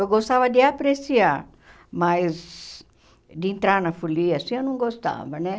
Eu gostava de apreciar, mas de entrar na folia assim eu não gostava, né?